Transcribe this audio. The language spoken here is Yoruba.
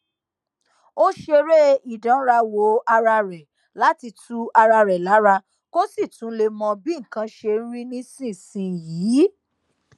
ó ṣeré ìdánrawò ara rè láti tu ara rè lára kó sì tún lè mọ bí nǹkan ṣe rí nísinsìnyí